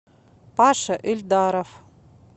паша эльдаров